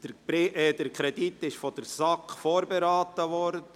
Der Kredit wurde von der SAK vorberaten.